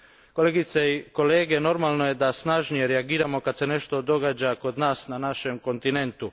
Kolegice i kolege, normalno je da snažnije reagiramo kad se nešto događa kod nas, na našem kontinentu.